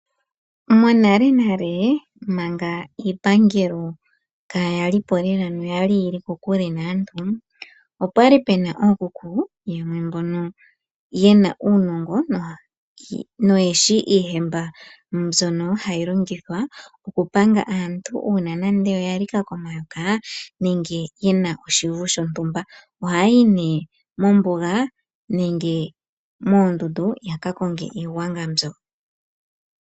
Monalenale manga iipangelo kaaya li po noyali yili kokule naantu, opwa li pe na ookuku yamwe mbono yali ye na uunongo noyeshi iihemba mbyono hayi longithwa oku panga aantu uuna nande oya lika komayoka nenge ye na oshivu shontumba ohaya yi nee mombuga nenge moondundu yaka konge iigwanga mbyoka.